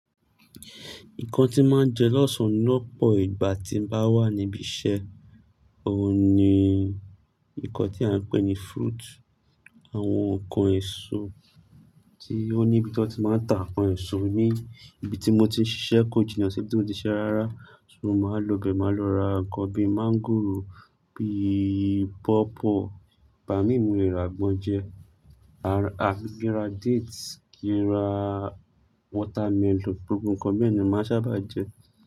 Nǹkan tí màá jẹ lọ́sàn-án lọ́pọ̀ ìgbà tí mò ń bá wà níbi iṣẹ́, ò ní ìkàn tí à ń pè ní fruit. Àwọn ǹkan èso tí ó ní ibi tí wọ́n ti máa ń ta ǹkan èso ni ibi tí mo ti ń ṣiṣẹ́ ko jìnà si, ibi tí mo ti ń ṣiṣẹ́ rárá. So mò máa lọ bẹ̀, mò máa lọ ra ǹkan bíi máńgòrò, bíi páwpáw, igbà mí mo lẹrà àgbọ̀n jẹ, à bi kí ra dates, kí ń ra watermelon, gbogbo ǹkan bẹ́ẹ̀ ni màá sábà jẹ.